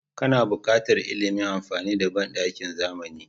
Kana buƙatar ilimin amfani da banɗakin zamani.